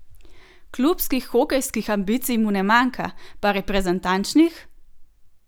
Klubskih hokejskih ambicij mu ne manjka, pa reprezentančnih?